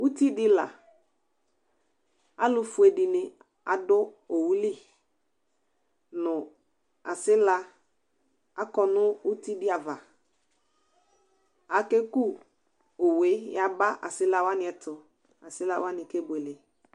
ʋtibdi la alʋfue dininadʋ owʋli nʋ asila akɔ nʋ utigli ava akeku owe yaba asila wani ɛtʋ asila wani kebuele